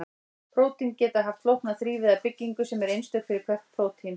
Prótín geta haft flókna þrívíða byggingu sem er einstök fyrir hvert prótín.